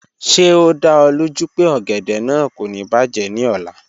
Ṣe o da ọ loju pe ogede naa ko ni bajẹ ni ọla?